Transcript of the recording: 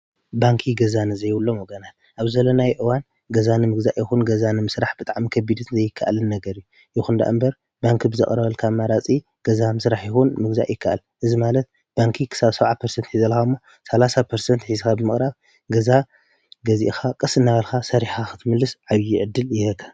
ባንኪ ገዛ ንዘይብሎ ወገናን ኣብ ዘለናይ ኦዋን ገዛን ምሕግዛ ይኹን ገዛን ምሥራሕ ብጥዕም ከቢድት ዘይከኣልን ነገር እዩ ይኹን ዳ እምበር ባንኪ ብዘቕረበል ካብ ማራጺ ገዛ ምሥራሕ ይኹን ምግዛ ይከኣል እዝ ማለት ባንኪ ክሳብ ሰውዓ ንት የዘለሃሞ ሠሳንት የሒስኻ ብመቕራብ ገዛ ገዚእኻ ቕስ ናበልካ ሠሪሓ ኽትምልስ ዓብዪ ዕድል የህበካ።